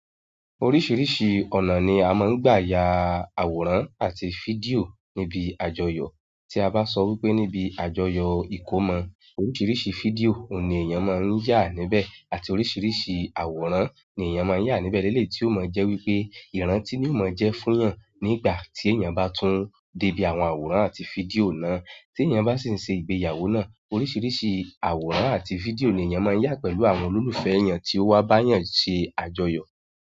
Oríṣiríṣi ọ̀nà ni a máa ń gbà yà àwòrán àti fídíò níbi àjọyọ̀. Tí a bá sọ wípé níbi àjọyọ̀ ìkómọ, oríṣiríṣi fídíò oun ní èèyàn máa ń yà níbẹ̀, àti oríṣiríṣi àwòrán ni èèyàn máa ń yà níbẹ̀ leleyi tí ó máa ń jẹ́ wípé ìrántí ni ó máa ń jẹ́ fún eeyan nígbà tí èèyàn bá tún débí àwọn àwòrán àti fídíò náà. Tí èèyàn bá sì ń ṣe ìgbéyàwó náà, oríṣiríṣi àwòrán àti fídíò ni èèyàn máa yà pẹ̀lú àwọn olólùfẹ́ èèyàn tí ó wá bá eeyan yàn ṣe àjọyọ̀.